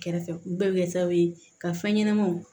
Kɛrɛfɛ bɛɛ bɛ kɛ sababu ye ka fɛn ɲɛnamaw